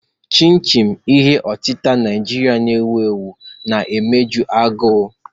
Chin-chin, ihe otita Naijiria na-ewu ewu, na-emeju agụụ.